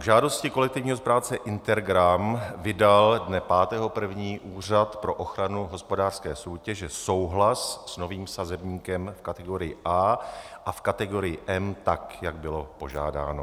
K žádosti kolektivního správce Intergram vydal dne 5. 1. Úřad pro ochranu hospodářské soutěže souhlas s novým sazebníkem v kategorii A a v kategorii M tak, jak bylo požádáno.